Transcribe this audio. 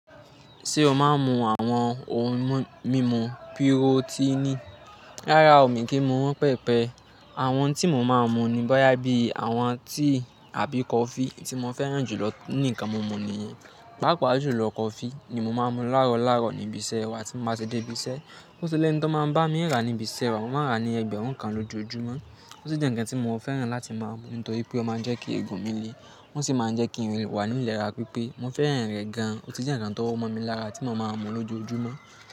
Ṣé o máa ń mu àwọn ohun mímu pirotini? Rárá o, mi kì í mu won pẹepẹ. Àwọn ohun tí mo máa ń mu ni bóyá bí àwọn tíì àbí kọfí tí mo fẹ́ràn jù lọ nínú ǹkan mumu nìyẹn. Paapa julọ kọfí ni mo máa ń mu láàárọ̀ laaro níbi iṣẹ́ wà tí mo bá sé de ibi iṣẹ́. Óti lẹ́ni to máa ń bá mii rà níbi iṣẹ́ wa. Mo máa ń rà ní ẹgbẹ̀rún kan lójoojúmọ́. Ó sì jẹ́ ǹkan tí mo fẹ́ràn láti máa mu nítorí pé ó máa ń jẹ́ kí eegun mi le o sì máa ń jẹ́ kí n le wà nínu ìlera pípé. Mo fẹ́ràn rẹ̀ gan-an, ó sì jẹ́ ǹkan tó mọ mi lára tí mo máa ń mu lójoojúmọ́.